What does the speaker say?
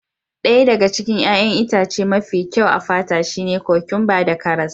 Ɗaya daga cikin 'ya'yan itace mafi kyau a fata shine kokwamba da karas.